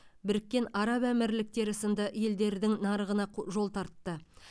біріккен араб әмірліктері сынды елдердің нарығына жол тартты